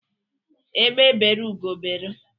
Egbe beru Ugo beru